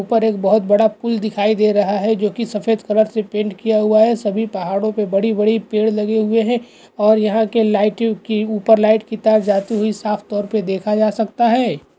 ऊपर एक बहोत बड़ा पुल दिखाई दे रहा है जो कि सफ़ेद कलर से पेंट किया हुआ हैसभी पहाड़ो पे बड़े बड़े पेड़ लगे हुए हैं और यहाँ के लाइट की ऊपर लाइट की तार जाते हुए साफ़ तौर पे देखा जा सकता है।